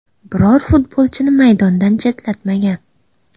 Biror futbolchini maydondan chetlatmagan.